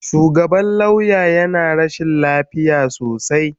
Shugaban lauya yana rashin lafiya sosai.